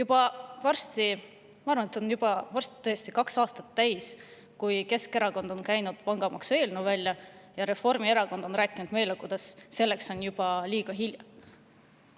Ma arvan, et varsti on juba kaks aastat möödas sellest, kui Keskerakond käis välja pangamaksu eelnõu ja Reformierakond hakkas rääkima, kuidas selleks on juba liiga hilja.